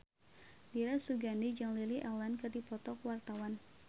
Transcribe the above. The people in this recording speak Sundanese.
Dira Sugandi jeung Lily Allen keur dipoto ku wartawan